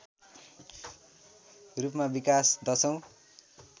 रूपमा विकास १०औँ